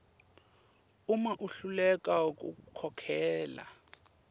uma ahluleka kukhokhela